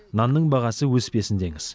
нанның бағасы өспесін деңіз